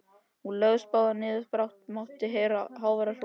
Þeir lögðust báðir niður og brátt mátti heyra háværar hrotur.